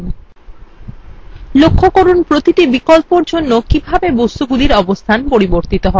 লক্ষ্য করুন প্রতিটি বিকল্পের জন্য কিভাবে বস্তুগুলির অবস্থান পরিবর্তিত হয়